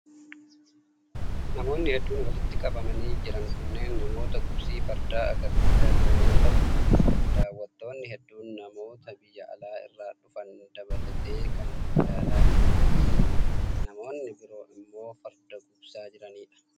Namoonni hedduun walitti qabanii jiran kunneen namoota gugsii fardaa agarsiisaa jiran yoo ta'u, daawwattoonni hedduun namoota biyya alaa irraa dhufan dabalatee kan ilaalaa jiranii fi namoonni biroo immoo farda gugsaa jiranii dha.